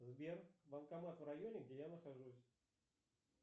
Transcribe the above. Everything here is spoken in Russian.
сбер банкомат в районе где я нахожусь